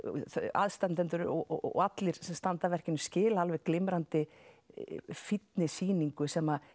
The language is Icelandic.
aðstandendur og allir sem standa að verkinu skila alveg glimrandi fínni sýningu sem